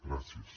gràcies